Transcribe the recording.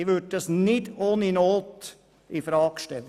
Dies würde ich nicht ohne Not infrage stellen.